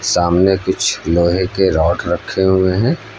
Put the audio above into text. सामने कुछ लोहे के रॉड रखे हुए है।